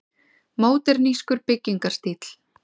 Módernískur byggingarstíll.